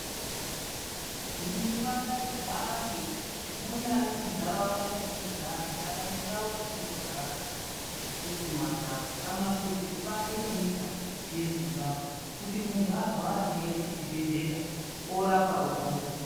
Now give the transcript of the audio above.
Nduma ngaihambe munyari muntaraunda metinogara kana mundau dzatinogara isusu mandau kana kuti kubanze kwenyika yeZimbabwe kuti muntu arwara ngaaende kuzvibhedhlera orapwa opona.